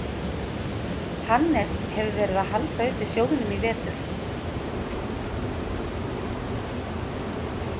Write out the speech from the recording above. Hannes hefur verið að halda uppi sjóðnum í vetur.